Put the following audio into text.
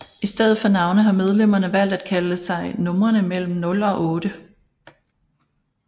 I stedet for navne har medlemmerne valgt at kalde sig numrene mellem nul og otte